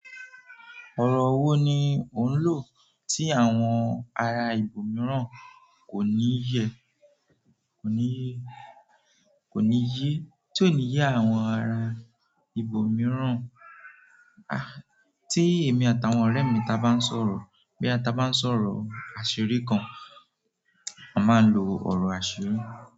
Ọ̀rọ̀ wo ni ò ń lò tí àwọn ará ibo mìíràn kò ní yé, kò ní yé, kò ní yé tí o ni ye àwọn ará ibo mìíràn, ah, tí èmi àtàwọn ọ̀rẹ́ mi taá bá ń sọ̀rọ̀, boya taa bá ń sọ̀rọ̀ àṣírí kan, a máa ń lo ọ̀rọ̀ àṣírí.